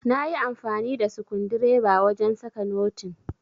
nayi amfani da skundireba wajen saka notin